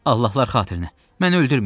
Allahlar xatirinə məni öldürməyin.